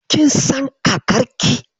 Kin san kakarki?